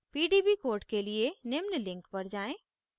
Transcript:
* pdb code के लिए निम्न link पर जाएँ